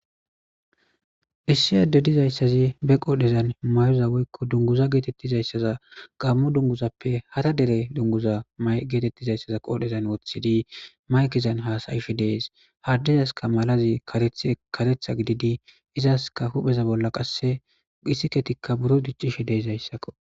Issi ade dizayssazi be qoodhezan mayoza woykko dunguza geetettizayssaza gammu dunguzappe hara dere dunguza may geetettizayssaza qoodhezan woththidi maykizan haasayifi dees haddizaska malazi ethkaretha gididi izaska hupheza bolla qasse gisiketikka buro diccishe deizayssakko.